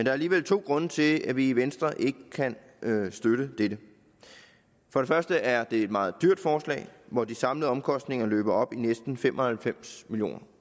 er alligevel to grunde til at vi i venstre ikke kan støtte dette for det første er det et meget dyrt forslag hvor de samlede omkostninger løber op i næsten fem og halvfems million